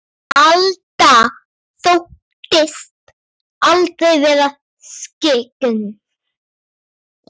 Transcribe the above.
Alda þóttist aldrei vera skyggn.